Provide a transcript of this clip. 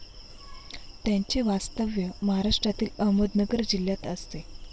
त्यांचे वास्तव्य महाराष्ट्रातील अहमदनगर जिल्ह्यात असते.